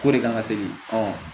K'o de kan ka segi